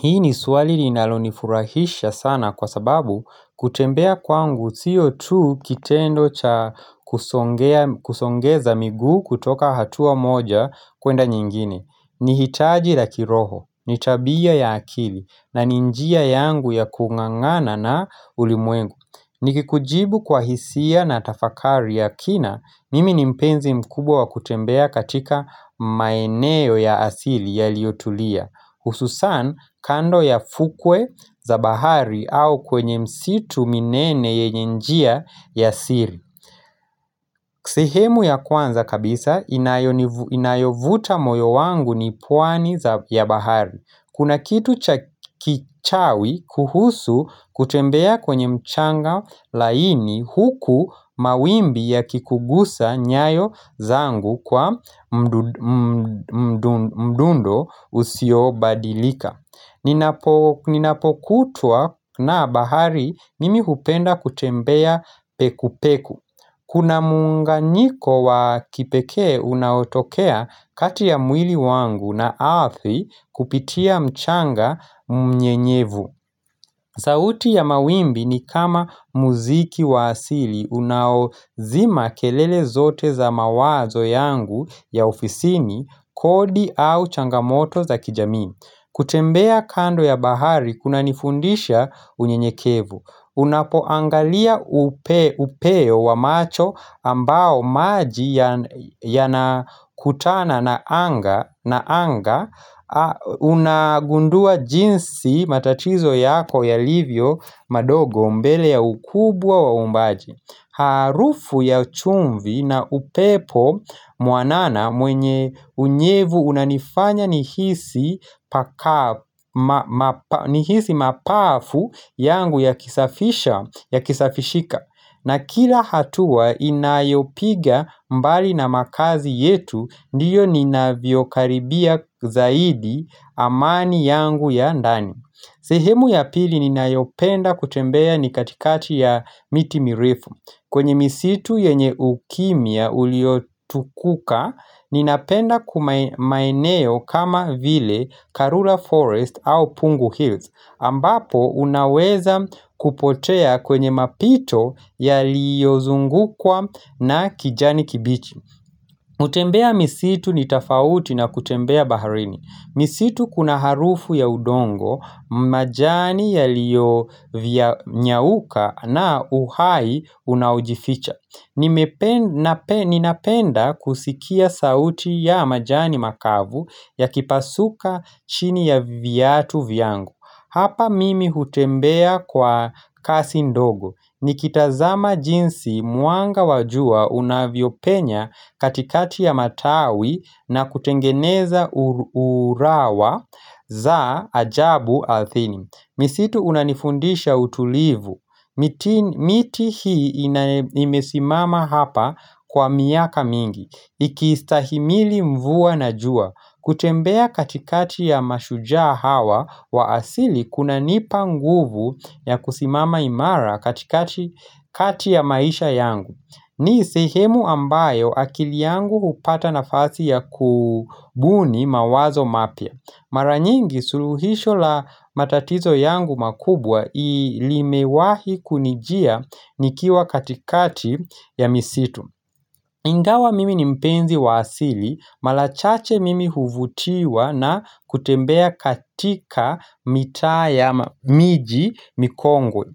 Hii ni swali linalonifurahisha sana kwa sababu kutembea kwangu siyo tu kitendo cha kusongeza miguu kutoka hatua moja kwenda nyingine ni hitaji la kiroho, ni tabia ya akili na ni njia yangu ya kung'ang'ana na ulimwengu ni kikujibu kwa hisia na tafakari ya kina, mimi ni mpenzi mkubwa wa kutembea katika maeneo ya asili ya liotulia Hususan kando ya fukwe za bahari au kwenye msitu minene yenye njia ya siri sehemu ya kwanza kabisa inayovuta moyo wangu ni pwani ya bahari Kuna kitu chakichawi kuhusu kutembea kwenye mchanga laini huku mawimbi ya kikugusa nyayo zangu kwa mdundo usio badilika Ninapokutwa na bahari mimi hupenda kutembea peku peku Kuna muunganiko wa kipekee unaotokea kati ya mwili wangu na ardhi kupitia mchanga mnye nyevu. Sauti ya mawimbi ni kama muziki wa asili unaozima kelele zote za mawazo yangu ya ofisini kodi au changamoto za kijamii. Kutembea kando ya bahari kuna nifundisha unye nyekevu Unapoangalia upeo wa macho ambao maji yanakutana na anga una gundua jinsi matatizo yako ya livyo madogo mbele ya ukubwa wa uumbaji Harufu ya chumvi na upepo muanana mwenye unyevu unanifanya nihisi mapafu yangu ya kisafisha ya kisafishika na kila hatua inayopiga mbali na makazi yetu ndiyo nina vyokaribia zaidi amani yangu ya ndani sehemu ya pili ni nayopenda kutembea ni katikati ya miti mirefu kwenye misitu yenye ukimya uliotukuka ni napenda maeneo kama vile Karula Forest au Pungu Hills ambapo unaweza kupotea kwenye mapito ya liyozungukwa na kijani kibichi. Kutembea misitu ni tofauti na kutembea baharini. Misitu kuna harufu ya udongo, majani ya liyo vya nyauka na uhai unaojificha. Ninapenda kusikia sauti ya majani makavu ya kipasuka chini ya viatu vyangu. Hapa mimi hutembea kwa kasi ndogo Nikitazama jinsi mwanga wajua unavyopenya katikati ya matawi na kutengeneza urawa za ajabu ardhini misitu unanifundisha utulivu miti hii imesimama hapa kwa miaka mingi Ikiistahimili mvua na jua kutembea katikati ya mashujaa hawa wa asili kuna nipa nguvu ya kusimama imara katikati ya maisha yangu. Ni sehemu ambayo akili yangu hupata nafasi ya kubuni mawazo mapya. Maranyingi suluhisho la matatizo yangu makubwa limewahi kunijia nikiwa katikati ya misitu. Ingawa mimi ni mpenzi wa asili, marachache mimi huvutiwa na kutembea katika mitaa ya miji mikongwe,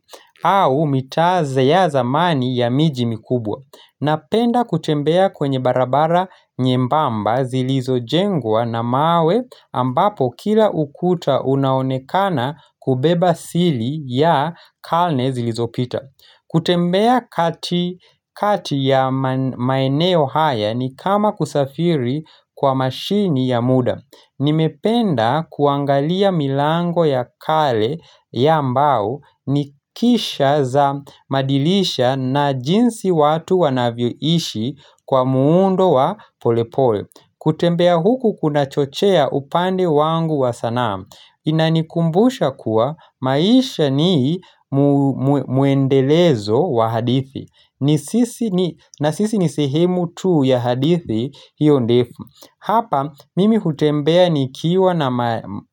au mitaa ya zamani ya miji mikubwa. Napenda kutembea kwenye barabara nyembamba zilizo jengwa na mawe ambapo kila ukuta unaonekana kubeba siri ya karne zilizopita. Kutembea kati kati ya maeneo haya ni kama kusafiri kwa mashine ya muda Nimependa kuangalia milango ya kale ya mbao nikisha za madilisha na jinsi watu wanavyoishi kwa muundo wa polepole kutembea huku kuna chochea upande wangu wa sanaa Inanikumbusha kuwa maisha ni mwendelezo wa hadithi na sisi ni sehemu tuu ya hadithi hiyo ndefu Hapa mimi hutembea ni kiwa na maa.